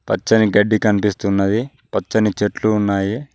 పచ్చని గడ్డి కనిపిస్తున్నది పచ్చని చెట్లు ఉన్నాయి.